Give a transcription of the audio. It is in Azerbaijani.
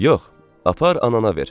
Yox, apar anana ver.